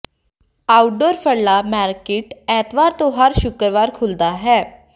outdoor ਫਰਲਾ market ਐਤਵਾਰ ਤੋਂ ਹਰ ਸ਼ੁੱਕਰਵਾਰ ਖੁੱਲ੍ਹਦਾ ਹੈ